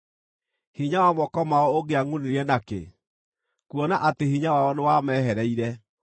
Hinya wa moko mao ũngĩangʼunire nakĩ, kuona atĩ hinya wao nĩwamehereire?